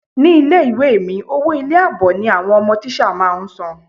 Ní ilé ìwé è mi, owó ilé ìwé àbọ̀ ni àwọn ọmọ tíṣà máa ń sane.